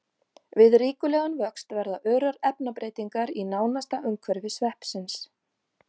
Við ríkulegan vöxt verða örar efnabreytingar í nánasta umhverfi sveppsins.